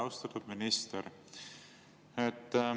Austatud minister!